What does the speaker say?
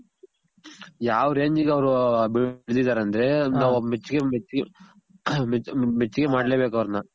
ಯಾವ್ ರೆಂಜಿಗ್ ಅವ್ರು ಬೆಳ್ದಿದಾರೆ ಅಂದ್ರೆ ಮೆಚ್ಗೆ, ಮೆಚ್ಗೆ ಮಾಡ್ಲೆ ಬೇಕ್ ಅವರ್ನ